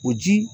O ji